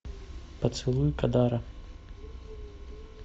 поцелуй кадара